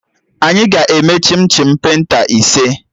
Anyị ga-eme chim chim penta ise